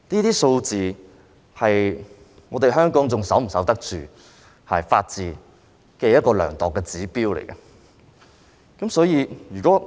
這些數字是量度香港能否守得住法治的指標。所以，如果......